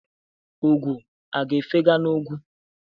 Ugo a ga-efega n'ugwu?